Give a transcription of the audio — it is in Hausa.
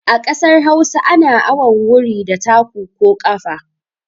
A kasar Hausa ana awon wuri da taku ko ƙafa.